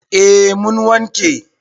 A mun wanke